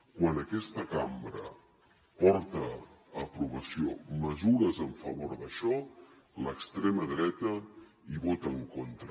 quan aquesta cambra porta a aprovació mesures en favor d’això l’extrema dreta hi vota en contra